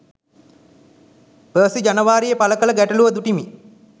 Percy ජනවාරියේ පල කල ගැටලුව දුටිමි.